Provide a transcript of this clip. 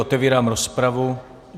Otevírám rozpravu.